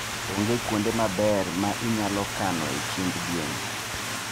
Onge kuonde maber ma inyalo kanoe chiemb gwen.